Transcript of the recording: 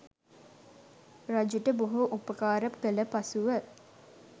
රජුට බොහෝ උපකාර කළ පසුව